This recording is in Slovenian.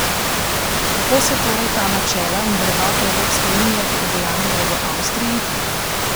Kako se torej ta načela in vrednote Evropske unije udejanjajo v Avstriji?